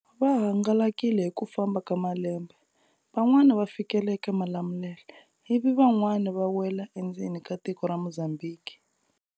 Va hangalakile hi ku famba ka malembe, van'wani va fikela eka Malamulele, ivi van'wani va wela endzeni ka tiko ra Mozambique.